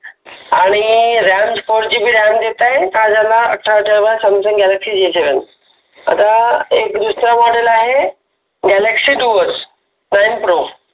आण four G B RAM देताय हा झाला अठरा हजार वाला Samsung Galaxy J seven model आहे गॅलॅक्सय डुओज नाईन प्रो